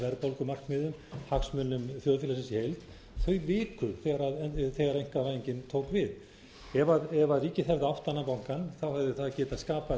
gæta að verðbólgumarkmiðum hagsmunum þjóðfélagsins í heild þau viku þegar einkavæðingin tók við ef ríkið hefði átt annan bankann hefði það getað skapað